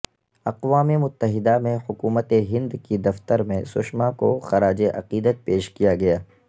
اقوام متحدہ میں حکومت ہند کے دفتر میں سشما کو خراج عقیدت پیش کیا گیا